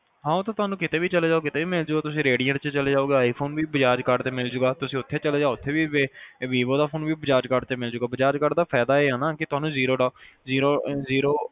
ਹਾਂ ਤੇ ਤੁਹਾਨੂੰ ਕਿਤੇ ਵੀ ਚਲਜੋ ਕਿਤੇ ਵੀ ਮਿਲਜੂਗਾ redient ਚ ਚਲੇ ਜਾਓਗੇ i phone ਵੀ bajaj card ਤੇ ਮਿਲਜੂਗਾ ਤੁਸੀਂ ਉਥੇ ਚਲਜੋ ਉਥੇ ਵੀ vivo ਦਾ ਫੋਨ ਵੀ ਬਜਾਜ ਕਾਰਡ ਤੇ ਮਿਲਜੂਗਾ ਤੁਹਾਨੂੰ zero zero